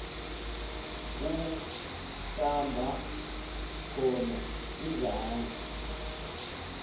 uhlamba khona izandla